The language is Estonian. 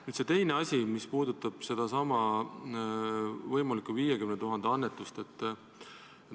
Nüüd see teine asi, mis puudutab sedasama võimalikku 50 000 annetamist.